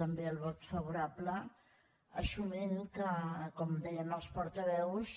també el vot favorable assumint que com deien els portaveus